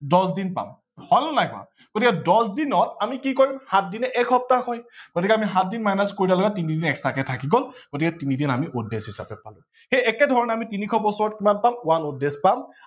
দছ দিন পাম হল নে বাৰু গতিকে দছ দিনত আমি কি কৰিম সাত দিনে এক সপ্তাহ হয় গতিকে আমি সাত দিন minus কৰিলে তিনিদিন extra কে থাকি গল গতিকে তিনিদিন আমি odd days হিচাপে লও। সেই একে ধৰনে আমি তিনিশ বছৰত কিমান দিন পাম one odd days পাম